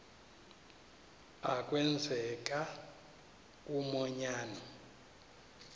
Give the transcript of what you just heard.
a kwenzeka umanyano